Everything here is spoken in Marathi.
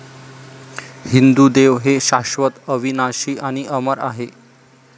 हिंदू देव हे शाश्वत, अविनाशी आणि अमर आहेत.